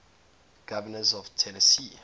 governors of tennessee